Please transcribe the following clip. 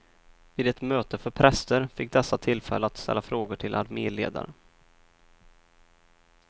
Vid ett möte för präster fick dessa tillfälle att ställa frågor till arméledaren.